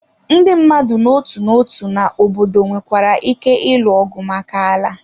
Ndị mmadụ n'otu n'otu na obodo nwekwara ike ịlụ ọgụ maka ala.